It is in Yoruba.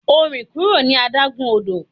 O rin kuro ni adagun odo!